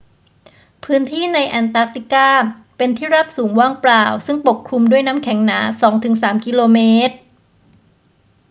พื้นที่ในแอนตาร์กติกาเป็นที่ราบสูงว่างเปล่าซึ่งปกคลุมด้วยน้ำแข็งหนา 2 ถึง 3 กิโลเมตร